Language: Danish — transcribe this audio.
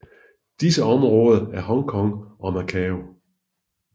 Disse områder er Hong Kong og Macau